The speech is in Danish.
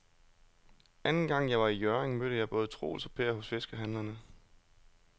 Anden gang jeg var i Hjørring, mødte jeg både Troels og Per hos fiskehandlerne.